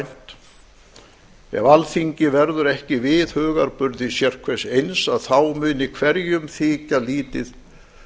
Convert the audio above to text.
uggvænt ef alþíng verður ekki við hugarburði sérhvers eins að þá muni hverjum þykja lítið